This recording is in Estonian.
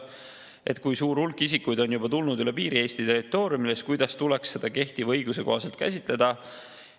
Et kui suur hulk isikuid on juba tulnud üle piiri Eesti territooriumile, siis kuidas tuleks seda kehtiva õiguse kohaselt käsitleda.